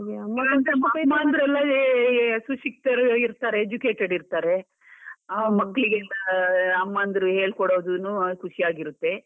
ಸುಶಿಕ್ತರು ಇರ್ತಾರೆ, educated ಇರ್ತಾರೆ, ಆ ಮಕ್ಳಿಗೆಲ್ಲ ಅಮ್ಮನ್ದ್ರು ಹೇಳ್ಕೊಡೋದುನು ಖುಷಿಯಾಗಿರುತ್ತೆ